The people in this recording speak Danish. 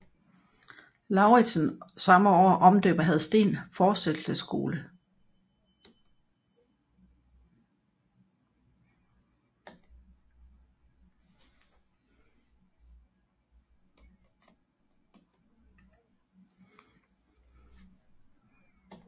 Lauritsen samme år omdøber Hadsteen Forsættelsesskole